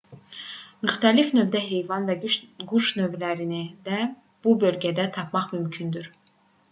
müxtəlif növdə heyvan və quş növlərini də bu bölgədə tapmaq mümkündür